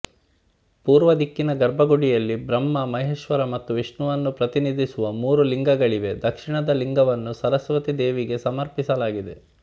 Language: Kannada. ಪೂರ್ವ ದಿಕ್ಕಿನ ಗರ್ಭಗುಡಿಯಲ್ಲಿ ಬ್ರಹ್ಮ ಮಹೇಶ್ವರ ಮತ್ತು ವಿಷ್ಣುವನ್ನು ಪ್ರತಿನಿಧಿಸುವ ಮೂರು ಲಿಂಗಗಳಿವೆ ದಕ್ಷಿಣದ ಲಿಂಗವನ್ನು ಸರಸ್ವತಿ ದೇವಿಗೆ ಸಮರ್ಪಿಸಲಾಗಿದೆ